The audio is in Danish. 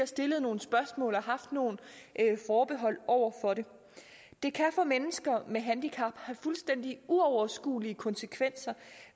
stillet nogle spørgsmål og haft nogle forbehold over for det det kan for mennesker med handicap have fuldstændig uoverskuelige konsekvenser